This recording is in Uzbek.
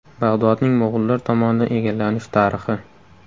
Bag‘dodning mo‘g‘ullar tomonidan egallanish tarixi.